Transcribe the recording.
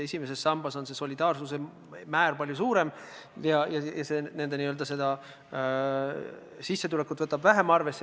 Esimeses sambas on solidaarsuse määr palju suurem, see arvestab nende väiksemat sissetulekut vähem.